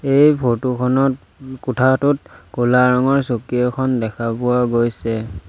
এই ফটো খনত ম কোঠাটোত ক'লা ৰঙৰ চকী এখন দেখা পোৱা গৈছে।